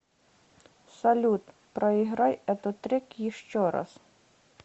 салют проиграй этот трек еще раз